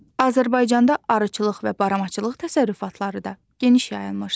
Azərbaycanda arıçılıq və baramaçılıq təsərrüfatları da geniş yayılmışdı.